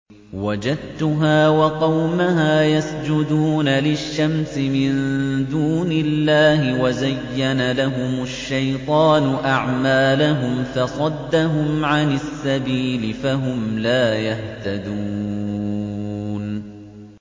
وَجَدتُّهَا وَقَوْمَهَا يَسْجُدُونَ لِلشَّمْسِ مِن دُونِ اللَّهِ وَزَيَّنَ لَهُمُ الشَّيْطَانُ أَعْمَالَهُمْ فَصَدَّهُمْ عَنِ السَّبِيلِ فَهُمْ لَا يَهْتَدُونَ